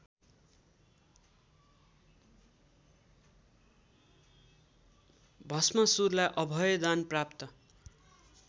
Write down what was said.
भष्मासुरलाई अभयदान प्राप्त